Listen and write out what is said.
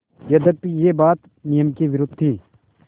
यद्यपि यह बात नियम के विरुद्ध थी